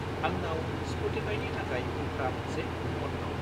आंनाव स्प'टिफाइनि थाखाय उफ्रा मोनसे कुपन दं।